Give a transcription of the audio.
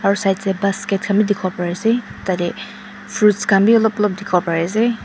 aro side side basket Khan bi dikipo pari asae tadae fruits Khan bi olop olop diki po pari asae.